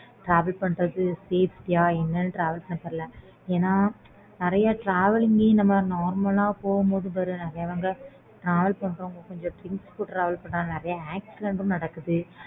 travel பண்றது safety ஆஹ் என்னனு என்ன நெறைய travelling ல இந்த மாறி normal ஆ போகும்போதும் பாரு நெறைய accident